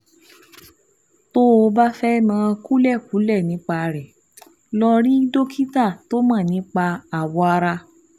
Tó o bá fẹ́ mọ kúlẹ̀kúlẹ̀ nípa rẹ̀, lọ rí dókítà tó mọ̀ nípa awọ ara